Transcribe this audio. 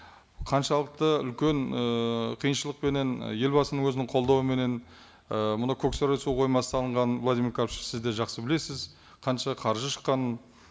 қаншалықты үлкен ыыы қиыншылықпенен елбасының өзінің қолдауыменен і мына көксарай су қоймасы салынған владимир карпович сіз де жақсы білесіз қанша қаржы шыққанын